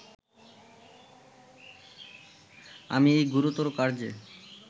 আমি এই গুরুতর কার্যে